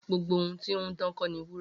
Gbogbo ohun ti ohun dan ko ni wura.